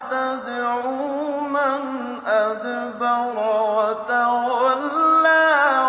تَدْعُو مَنْ أَدْبَرَ وَتَوَلَّىٰ